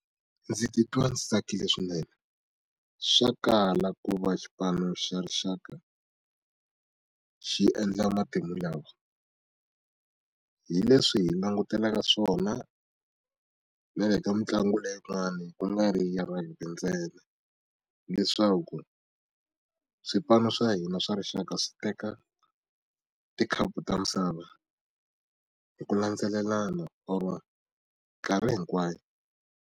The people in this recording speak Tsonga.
Ndzi titwa ndzi tsakile swinene swa kala ku va xipano xa rixaka xi endla matimu lawa hi leswi hi langutelaka swona na le ka mitlangu leyin'wani ku nga ri ya hina ntsena leswaku swipano swa hina swa rixaka swi teka tikhapu ta misava hi ku landzelelana or mikarhi hinkwayo.